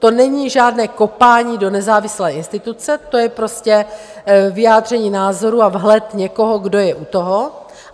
To není žádné kopání do nezávislé instituce, to je prostě vyjádření názoru a vhled někoho, kdo je u toho.